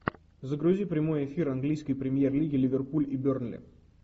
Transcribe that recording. загрузи прямой эфир английской премьер лиги ливерпуль и бернли